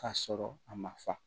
Ka sɔrɔ a ma fa